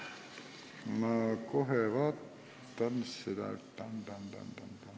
Ma kohe vaatan seda.